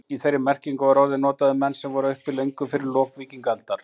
Í þeirri merkingu var orðið notað um menn sem voru uppi löngu eftir lok víkingaaldar.